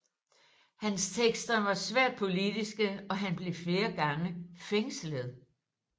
Hans tekster var svært politiske og han blev flere gange fængslet